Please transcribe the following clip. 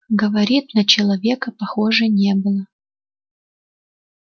говорит на человека похоже не было